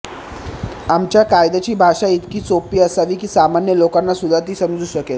आमच्या कायद्याची भाषा इतकी सोपी असावी की सामान्य लोकांनासुद्धा ती समजू शकेल